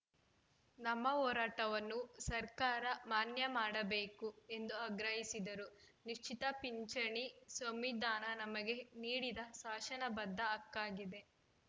ನಮ್ಮ ಹೋರಾಟವನ್ನು ಸರ್ಕಾರ ಮಾನ್ಯ ಮಾಡಬೇಕು ಎಂದು ಆಗ್ರಹಿಸಿದರು ನಿಶ್ಚಿತ ಪಿಂಚಣಿ ಸಂವಿಧಾನ ನಮಗೆ ನೀಡಿದ ಶಾಸನಬದ್ಧ ಹಕ್ಕಾಗಿದೆ